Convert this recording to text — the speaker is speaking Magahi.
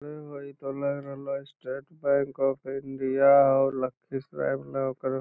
हे होअ इ तो लग रहले हेय स्टेट बैंक ऑफ इंडिया होअ लखीसराय वाला ओकर --